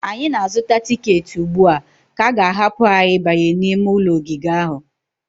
anyị na-azụta tiketi ugbu a ka a ga-ahapụ anyị ịbanye n'ime ogige ahụ